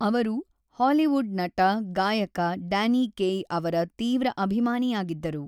ಅವರು ಹಾಲಿವುಡ್ ನಟ-ಗಾಯಕ Danny Kaye ಅವರ ತೀವ್ರ ಅಭಿಮಾನಿಯಾಗಿದ್ದರು.